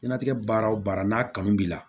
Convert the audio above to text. Jiɲɛnatigɛ baara o baara n'a kanu b'i la